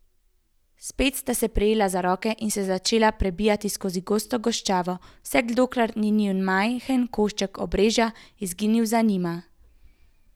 Spet sta se prijela za roke in se začela prebijati skozi gosto goščavo, vse dokler ni njun majhen košček obrežja izginil za njima.